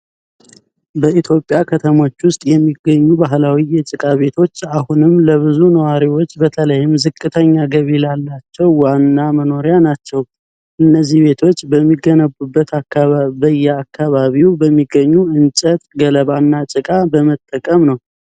በኢትዮጵያ ከተሞች ውስጥ የሚገኙ ባህላዊ የጭቃ ቤቶች አሁንም ለብዙ ነዋሪዎች በተለይም ዝቅተኛ ገቢ ላላቸው ዋና መኖሪያ ናቸው። እነዚህ ቤቶች የሚገነቡት በአካባቢው በሚገኙ እንጨት፣ ገለባ እና ጭቃ በመጠቀም ነው።